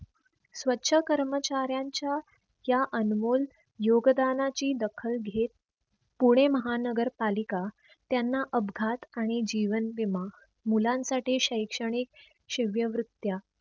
स्वछ कर्मचाऱ्यांच्या या अनमोल योगदानाची दखल घेत पुणे महानगर पालिका त्यांना अपघात आणि जीवन विमा मुलांसाठी शैक्षणिक शिव्या वृत्या